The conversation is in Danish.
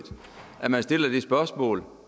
at man stiller det spørgsmål